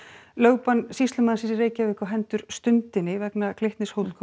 lögbann sýslumannsins í Reykjavík á hendur Stundinni vegna Glitnis